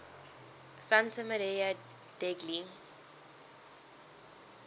santa maria degli